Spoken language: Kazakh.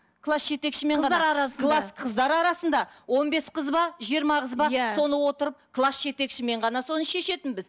класс жетекшімен ғана қыздар арасында класс қыздар арасында он бес қыз ба жиырма қыз ба иә соны отырып класс жетекшімен ғана соны шешетінбіз